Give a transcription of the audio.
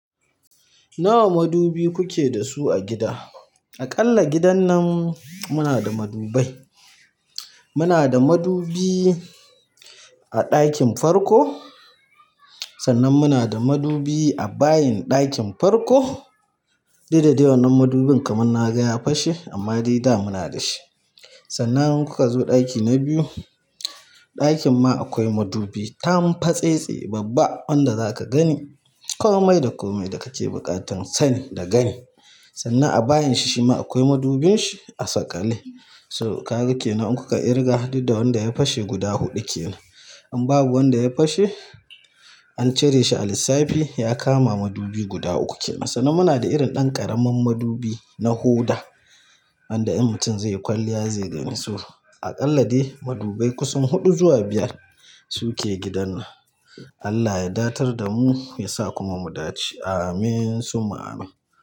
Nawa madubi kuke da su a gida? Aƙalla gidan nan muna da madubai. Muna da madubi a ɗakin farko, sannan muna da madubi a bayin ɗakin farko. Didda dai wannan madubin kaman naga ya fashe amma dai da muna da shi sannan in kuka zo ɗaki na biyu, ɗakin ma akwai madubi, tamfatsetse babba wanda zaka gani komai da komai da kake buƙatan sani da gani. Sannan a bayin shi shi ma akwai madubin shi a sakali. To kaga kennan in kuka kirga dudda wanda ya fashe guda huɗu kenan. In babu wanda ya fashe, an cire shi a lissafi ya kama madubi guda uku kenan. Sannan muna da irin ɗan ƙaramin madubi na hoda wanda in mutum zai yi kwalliya zai gani su. Aƙalla dai madubai kusan huɗu zuwa biyar su ke gidan nan. Allah ya datar da mu ya sa kuma mu dace. Amin summa Amin.